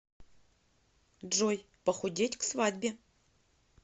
джой похудеть к свадьбе